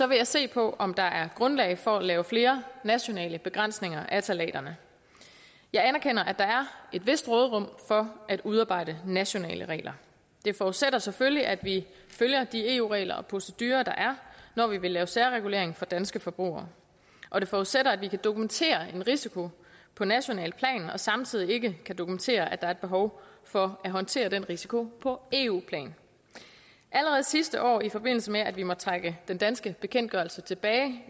vil jeg se på om der er grundlag for at lave flere nationale begrænsninger af ftalaterne jeg anerkender at der er et vist råderum for at udarbejde nationale regler det forudsætter selvfølgelig at vi følger de eu regler og procedurer der er når vi vil lave særregulering for danske forbrugere og det forudsætter at vi kan dokumentere en risiko på nationalt plan og samtidig ikke kan dokumentere at der er behov for at håndtere den risiko på eu plan allerede sidste år i forbindelse med at vi måtte trække den danske bekendtgørelse tilbage